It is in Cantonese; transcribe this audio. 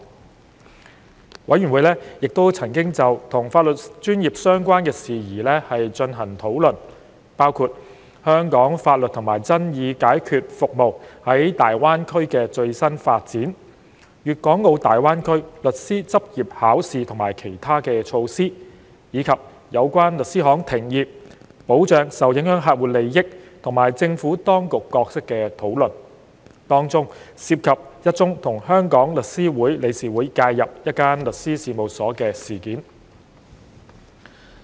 事務委員會亦曾就與法律專業相關的事宜進行討論，包括香港法律及爭議解決服務在大灣區的最新發展、粵港澳大灣區律師執業考試及其他措施，以及有關律師行停業、保障受影響客戶利益及政府當局角色的討論，當中涉及一宗與香港律師會理事會介入一間律師事務所的事件。